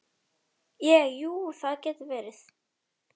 Ég, jú, það getur verið.